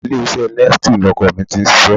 Ilé-iṣẹ́ Nestle ni ọkọ mi ti ń ṣiṣẹ́